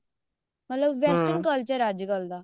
ਮਤਲਬ western culture ਆ ਅੱਜਕਲ ਦਾ